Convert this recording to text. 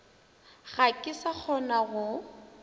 ga ke sa kgona go